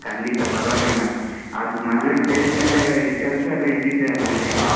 ಖಂಡಿತಾ ಪರ್ವಾಗಿಲ್ಲ ಅದ್ ಮದ್ವೆ ಅಂತ ಹೇಳಿದ್ಮೇಲೆಕೆಲ್ಸ ಎಲ್ಲ ಇದ್ದಿದೆ ಅಲ್ಲ ಹೇಗಿದ್ರು .